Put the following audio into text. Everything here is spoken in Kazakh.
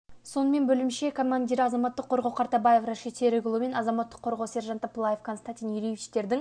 сонымен бөлімше командирі азаматтық қорғау қартабаев рашид серікұлы мен азаматтық қорғау сержанты пылаев константин юрьевичтердің